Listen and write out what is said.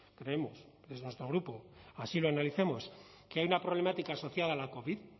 creemos desde nuestro grupo así lo analizamos que hay una problemática asociada a la covid